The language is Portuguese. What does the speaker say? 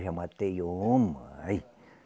Já matei uma.